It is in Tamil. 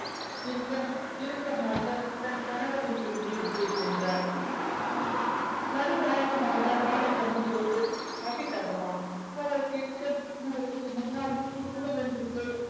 என்க இறுக்கமாக தன் கணவரின் பின்ன உள்ளே சென்றாள் நடுநாயகமாக hall லில் அமர்ந்து கொண்டு coffee தங்கமா அவர் கேட்க அவருக்கு முன்னால் குடுகுடுவென்று போய்